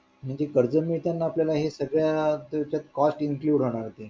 म्हणजे कर्ज मिळताना हे आपल्या सगळ्यां याच्यात Cost include होणार ते